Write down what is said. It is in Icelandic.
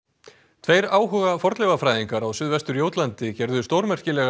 tveir áhuga fornleifafræðingar á suðvestur Jótlandi gerðu stórmerkilega